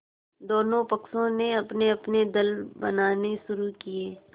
दोनों पक्षों ने अपनेअपने दल बनाने शुरू किये